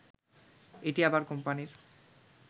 এটি আবার কোম্পানির